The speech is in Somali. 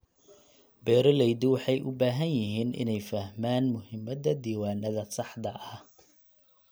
Beeraleydu waxay u baahan yihiin inay fahmaan muhiimadda diiwaannada saxda ah.